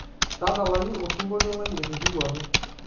tadalayu osingolio lai etipikuaki